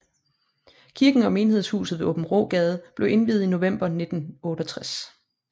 Kirken og menighedshuset ved Aabenraagade blev indviet i november 1968